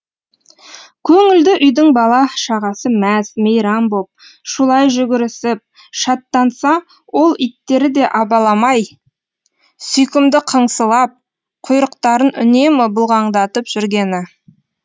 көңілді үйдің бала шағасы мәз мейрам боп шулай жүгірісіп шаттанса ол иттері де абаламай сүйкімді қыңсылап құйрықтарын үнемі бұлғаңдатып жүргені